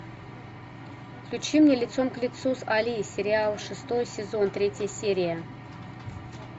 включи мне лицом к лицу с али сериал шестой сезон третья серия